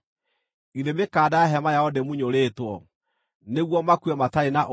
Githĩ mĩkanda ya hema yao ndĩmunyũrĩtwo, nĩguo makue matarĩ na ũũgĩ?’